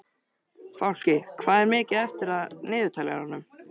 Fálki, hvað er mikið eftir af niðurteljaranum?